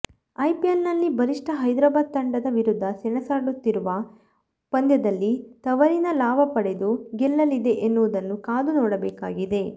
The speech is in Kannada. ಐಪಿಎಲ್ ನಲ್ಲಿ ಬಲಿಷ್ಠ ಹೈದರಾಬಾದ್ ತಂಡದ ವಿರುದ್ದ ಸೆಣಸುತ್ತಿರುವ ಪಂಧ್ಯದಲ್ಲಿ ತವರಿನ ಲಾಭ ಪಡೆದು ಗೆಲ್ಲಲಿದೆ ಎನುವುದನ್ನು ಕಾದು ನೋಡಬೇಕಾಗಿದೆ